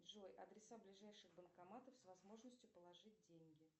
джой адреса ближайших банкоматов с возможностью положить деньги